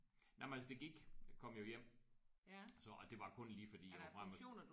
Nej men altså det gik jeg kom jo hjem så og det var kun lige fordi jeg var frem og til